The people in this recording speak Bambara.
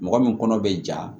Mɔgɔ min kɔnɔ bɛ ja